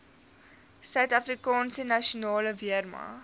suidafrikaanse nasionale weermag